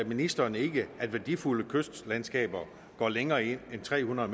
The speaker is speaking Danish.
ministeren ikke at værdifulde kystlandskaber går længere ind end tre hundrede